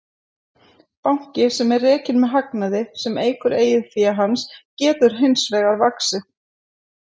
Banki sem er rekinn með hagnaði sem eykur eigin fé hans getur hins vegar vaxið.